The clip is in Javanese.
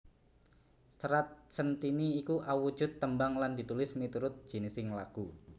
Serat Centhini iku awujud tembang lan ditulis miturut jinising lagu